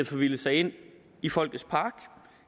forvildet sig ind i folkets park